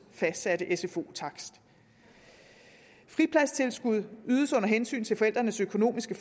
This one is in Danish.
fastsatte sfo takst fripladstilskud ydes under hensyn til forældrenes økonomiske